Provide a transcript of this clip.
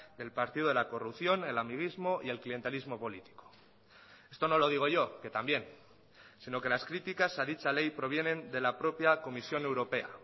del partido de la corrupción el amiguismo y el clientelismo político esto no lo digo yo que también sino que las críticas a dicha ley provienen de la propia comisión europea